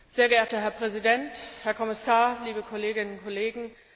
Sehr geehrter Herr Präsident, Herr Kommissar, liebe Kolleginnen und Kollegen!